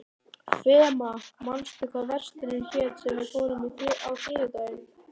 Fema, manstu hvað verslunin hét sem við fórum í á þriðjudaginn?